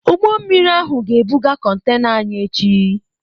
Ụgbọ mmiri ahụ ga-ebuga contena anyị echi.